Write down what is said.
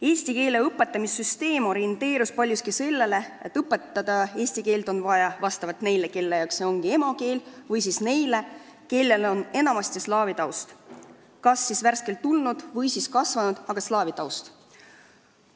Eesti keele õpetamise süsteem on lähtunud paljuski sellest, kas keelt on vaja õpetada neile, kelle jaoks see on emakeel, või neile, kellel on muu, enamasti slaavi taust – need inimesed on kas siia värskelt tulnud või siin kasvanud, aga neil on slaavi taust.